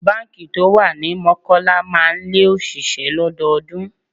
Báńkì tó wà ní Mọ́kọ́lá máa ń lé òṣìṣẹ́ lọ́dọọdún.